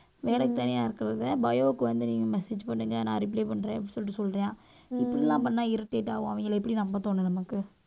வேலைக்கு தனியா இருக்குறத bio க்கு வந்து நீங்க message பண்ணுங்க நான் reply பண்றேன் அப்படின்னு சொல்லிட்டு சொல்றான். இப்படி எல்லாம் பண்ணா irritate ஆகும் அவங்களை எப்படி நம்ப தோணும் நமக்கு